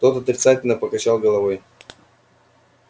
тот отрицательно покачал головой